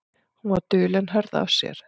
Hún var dul en hörð af sér.